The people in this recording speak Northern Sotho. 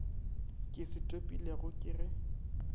ke se topilego ke ge